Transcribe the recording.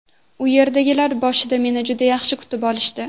U yerdagilar boshida meni juda yaxshi kutib olishdi.